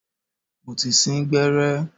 Mo ti sín gbẹ́rẹ́.